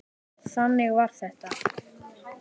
Þannig var þetta!